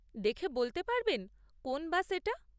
দেখে বলতে পারবেন কোন বাস এটা?